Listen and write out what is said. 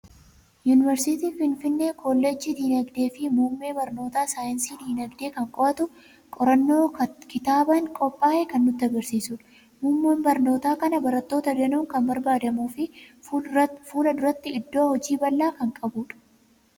Yuuniversitii Finfinnee koollejjii Dinagdee fi muummee barnoota saayinsii Dinagdee kan qo'atu, qorannoo kitaabaan qophaa'e kan nutti argisiisudha. Muummeen barnoota kanaa barattoota danuun kan barbaadamuu fi fuula duratti iddoo hojii bal'aa kan qabudha.